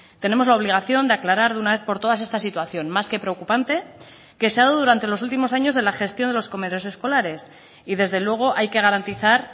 tenemos la obligación de aclarar de una vez por todas esta situación más que preocupante que se ha dado durante los últimos años de la gestión de los comedores escolares y desde luego hay que garantizar